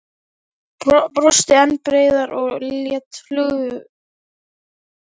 Mig dreymdi mikið út í Viðey.